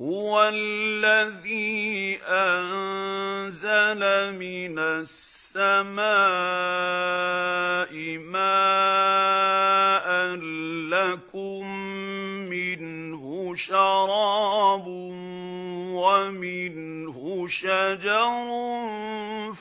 هُوَ الَّذِي أَنزَلَ مِنَ السَّمَاءِ مَاءً ۖ لَّكُم مِّنْهُ شَرَابٌ وَمِنْهُ شَجَرٌ